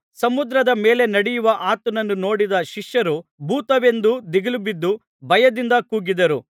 ಸಮುದ್ರದ ಮೇಲೆ ನಡೆಯುವ ಆತನನ್ನು ನೋಡಿದ ಶಿಷ್ಯರು ಭೂತವೆಂದು ದಿಗಿಲುಬಿದ್ದು ಭಯದಿಂದ ಕೂಗಿದರು